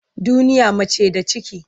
Duniya mace da ciki ce.